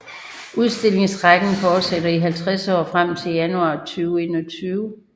Udstillingsrækken fortsætter i 50 år frem til januar 2021